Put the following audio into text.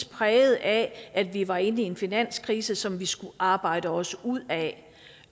præget af at vi var inde i en finanskrise som vi skulle arbejde os ud af